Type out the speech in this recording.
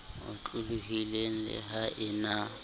otlolohileng le ha e na